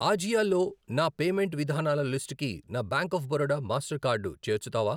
ఆజియో లో నా పేమెంట్ విధానాల లిస్టుకి నా bank of Baroda Mastercard చేర్చుతావా?